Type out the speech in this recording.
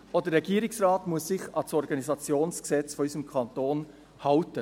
Auch der Regierungsrat muss sich an das OrG unseres Kantons halten.